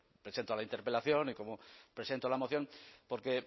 presento la interpelación y cómo presento la moción porque